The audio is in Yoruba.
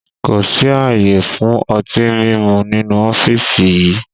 Kò sí àyè fún ọtí mímu nínú ọ́fíìsì yìí!